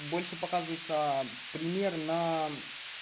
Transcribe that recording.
больше показывается пример на